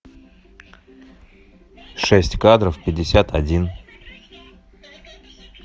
шесть кадров пятьдесят один